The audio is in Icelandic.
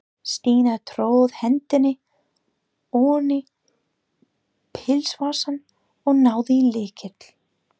Stína tróð hendinni oní pilsvasann og náði í lykil.